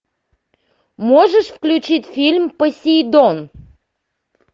можешь включить фильм посейдон